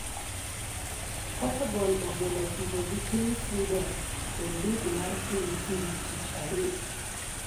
Portugal ogeno tugo gi piny Sweden e lig mar piny kiny, tich adek.